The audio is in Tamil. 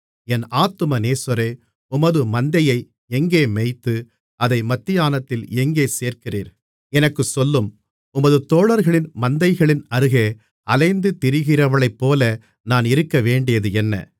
என் ஆத்தும நேசரே உமது மந்தையை எங்கே மேய்த்து அதை மத்தியானத்தில் எங்கே சேர்க்கிறீர் எனக்குச் சொல்லும் உமது தோழர்களின் மந்தைகளின் அருகே அலைந்து திரிகிறவளைப்போல நான் இருக்கவேண்டியதென்ன மணவாளன்